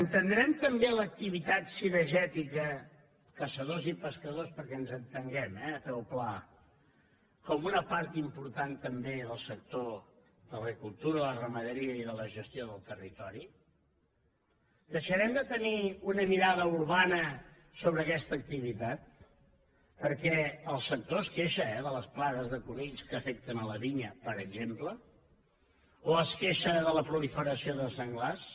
entendrem també l’activitat cinegètica caçadors i pescadors perquè ens entenguem eh a peu pla com una part important també del sector de l’agricultura la ramaderia i de la gestió del territori deixarem de tenir una mirada urbana sobre aquesta activitat perquè el sector es queixa eh de les plagues de conills que afecten la vinya per exemple o es queixa de la proliferació de senglars